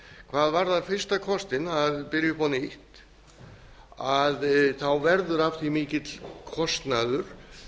hvað varðar fyrsta kostinn að byrja upp á nýtt verður af því mikill kostnaður